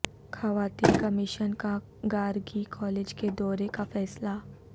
خواتین کمیشن کا گارگی کالج کے دورے کا فیصلہ